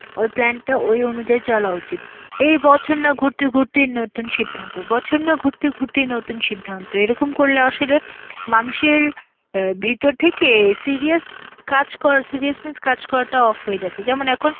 ওই plan টা~ ওই অনুযায়ী চলা উচিত. এ বছর না ঘুরতে ঘুরতে নতুন সিদ্ধান্ত, বছর যা ঘুরতে ঘুরতেই নতুন সিদ্ধান্ত, এরকম করলে আসলে মানুষের এর ভেতর থেকে serious কাজ করা~ seriousness কাজ করাটা off হয়ে যাচ্ছে, যেমন এখন